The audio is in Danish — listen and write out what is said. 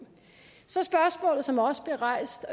så spørgsmålet som også blev rejst